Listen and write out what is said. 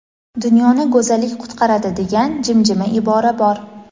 Dunyoni go‘zallik qutqaradi degan jimjima ibora bor.